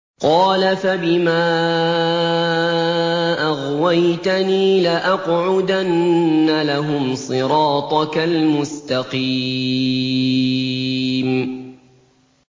قَالَ فَبِمَا أَغْوَيْتَنِي لَأَقْعُدَنَّ لَهُمْ صِرَاطَكَ الْمُسْتَقِيمَ